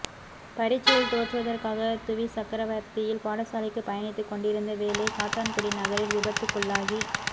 பரீட்சையில் தோற்றுவதற்காக துவிச்சக்கரவண்டியில் பாடசாலைக்கு பயணித்து கொண்டிருந்த வேளை காத்தான்குடி நகரில் விபத்துக்குள்ளாகி